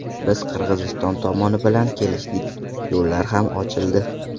Biz Qirg‘iziston tomoni bilan kelishdik, yo‘llar ham ochildi.